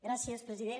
gràcies president